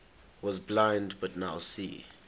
was blind but now see